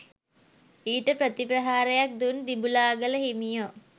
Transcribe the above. ඊට ප්‍රතිප්‍රහාරයක් දුන් දිඹුලාගල හිමියෝ